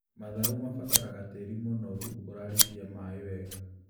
Matharũ mabataraga tĩri mũnoru ũrarikia maĩĩ wega